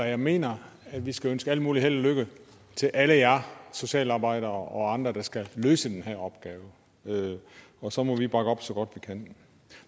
jeg mener at vi skal ønske al mulig held og lykke til alle jer socialarbejdere og andre der skal løse den her opgave og så må vi bakke dem op så godt vi kan